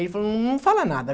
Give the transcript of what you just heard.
Ele falou, não fala nada.